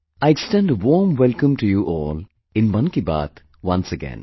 I extend a warm welcome to you all in 'Mann Ki Baat', once again